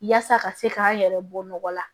Yaasa ka se k'an yɛrɛ bɔ nɔgɔ la